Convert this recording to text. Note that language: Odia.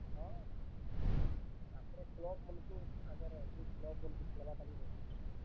ହଁ, ତାପ୍ ରେ club ମାନ୍ ଙ୍କୁ ତାଙ୍କର୍ ଅଛେ club ମାନଙ୍କୁ ଖେଲ୍ ବାର୍ ଟା ବି ବେଶୀ ନେଇ ଯାଏସନ୍।